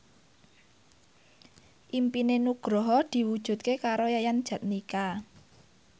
impine Nugroho diwujudke karo Yayan Jatnika